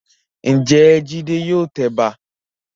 Ǹjẹ́ Jídé yóò tẹ ẹ̀bà?